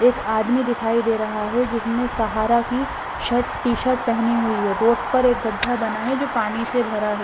एक आदमी दिखाई दे रहा है जिसने सहारा की शर्ट टी-शर्ट पेहनी हुई है रोड पर एक गड्ढा बना है जो पानी से भरा है।